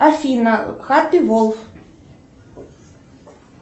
афина хаппи волф